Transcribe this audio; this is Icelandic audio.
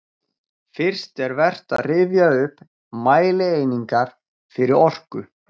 Fyrst er vert að rifja upp mælieiningar fyrir orku.